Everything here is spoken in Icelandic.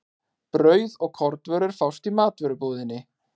Brauð og kornvörur fást í matvörubúðinni.